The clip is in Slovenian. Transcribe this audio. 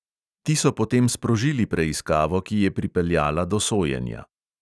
Ti so potem sprožili preiskavo, ki je pripeljala do sojenja.